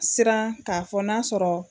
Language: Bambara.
Siran k'a fɔ n'a sɔrɔ